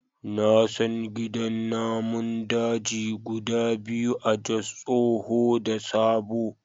Na san gidan namun daji guda biyu a Jos, tsoho da sabo.